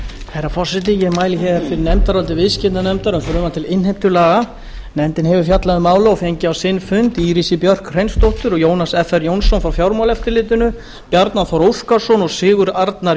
herra forseti ég mæli hér fyrir nefndaráliti viðskiptanefndar um frumvarp til innheimtulaga nefndin hefur fjallað um málið og fengið á sinn fund írisi björk hreinsdóttur og jónas fr jónsson frá fjármálaeftirlitinu bjarna þór óskarsson og sigurð arnar